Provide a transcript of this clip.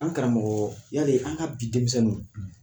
An karamɔgɔ yari an ka bi denmisɛnninw;